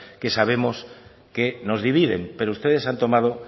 que sabemos que nos dividen pero ustedes han tomado